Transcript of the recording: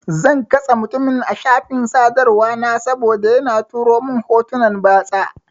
Zan katse mutumin a shafin sadarwa na saboda yana turo mun hotunan batsa.